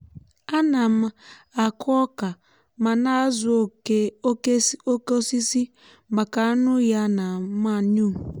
a na m akụ ọka ma na-azụ oke osisi màkà anụ ya na mànuu.